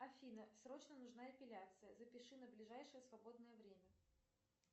афина срочно нужна эпиляция запиши на ближайшее свободное время